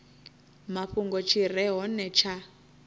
mafhungo tshi re hone tsha